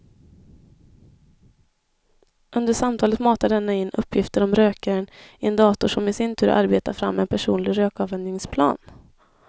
Under samtalet matar denna in uppgifter om rökaren i en dator som i sin tur arbetar fram en personlig rökavvänjningsplan.